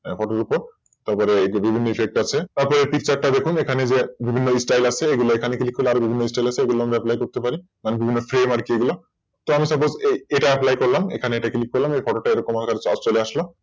Record এর ওপর তারপর বিভিন্ন Effect আছে Effect টা দেখুন। বিভিন্ন Style আছে এখানে আরো বিভিন্ন Style আছে মানে বিভিন্ন Frame আছে তো আমি Suppose এটা Apply করলাম এখানে এটা Click খুললাম এর পরেরটা এরকম চলে আসলো